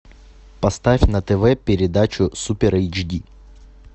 поставь на тв передачу супер эйч ди